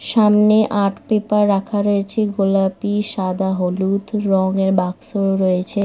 সামনে art paper রাখা রয়েছে গোলাপি সাদা হলুদ রঙের বাক্সও রয়েছে।